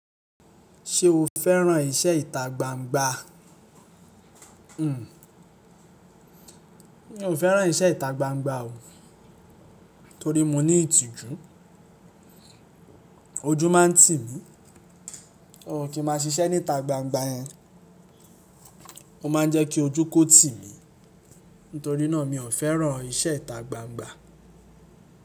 Ṣé o fẹ́ràn iṣẹ́ ìta gbangba? Mi ò fẹ́ràn iṣẹ́ ìta gbangba o, torí mo ní ìtìjú. Ojú máa ń tì mí. O kí máa ṣiṣẹ́ ní ìta gbangba yẹn. Ó máa ń jẹ́ kí ojú kó tì mí. Nítorí náà mi ò fẹ́ràn iṣẹ́ ìta gbangba.